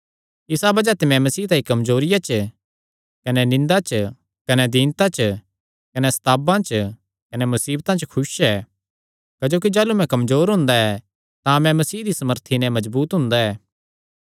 इसा बज़ाह ते मैं मसीह तांई कमजोरियां च कने निंदा च कने दीनता च कने सतांवा च कने मुसीबतां च खुस ऐ क्जोकि जाह़लू मैं कमजोर हुंदा ऐ तां मैं मसीह दी सामर्थी नैं मजबूत हुंदा ऐ